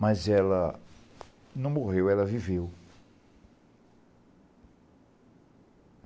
Mas ela não morreu, ela viveu.